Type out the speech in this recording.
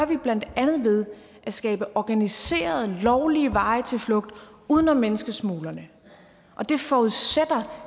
vi blandt andet ved at skabe organiserede lovlige veje til flugt uden om menneskesmuglerne og det forudsætter